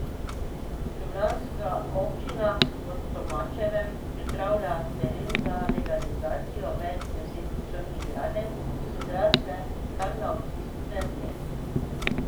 Ljubljanska občina v Tomačevem pripravlja teren za legalizacijo več deset črnih gradenj, ki so zrasle kar na občinski zemlji.